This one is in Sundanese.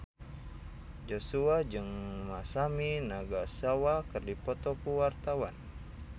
Joshua jeung Masami Nagasawa keur dipoto ku wartawan